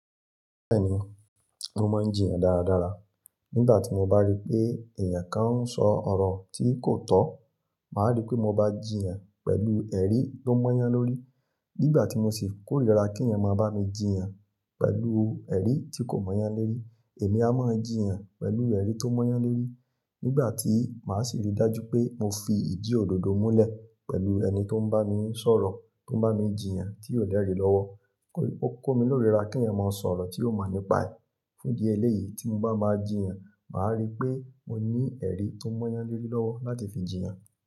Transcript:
Bẹ́ẹ̀ni, mo máa ń jiyàn dáradára. Nígbà tí mo bá rí pé èèyàn kan ń sọ ọ̀rọ̀ tí kò tọ́, màá rí pé mo bá jiyàn pẹ̀lú ẹ̀rí tó mọ́yán lórí. Nígbà tí mo sì kórìíra kí èèyàn máa bá mi jiyàn pẹ̀lú ẹ̀rí tí kò mọ́yán lórí, èmi a máa jiyàn pẹ̀lú ẹ̀rí tó mọ́yán lórí. Nígbà tí màá sì rí dájú pé mo fi ìdì òdodo múlẹ̀ pẹ̀lú ẹni tó ń bá mi sọ̀rọ̀, tó ń bá mi jiyàn tí ò lẹ́rì lọ́wọ́, ó kó mi lóríra kí ẹ̀eyàn máa sọ̀rọ̀ tí ò mo nípa ẹ̀ fún idi ẹlẹ́yìí. Tí mo bá máa jiyàn, màá rí pé mo ní ẹ̀rí tó mọ́yán lórí lọ́wọ́ láti fi jiyàn.